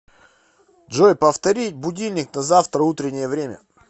джой повторить будильник на завтра утреннее время